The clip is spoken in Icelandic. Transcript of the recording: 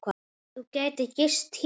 Þú gætir gist hér.